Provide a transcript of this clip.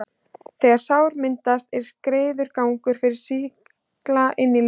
þegar sár myndast, er greiður gangur fyrir sýkla inn í líkamann.